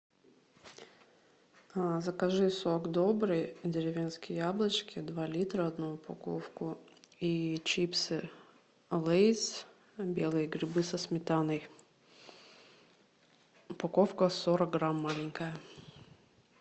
закажи сок добрый деревенские яблочки два литра одну упаковку и чипсы лейс белые грибы со сметаной упаковка сорок грамм маленькая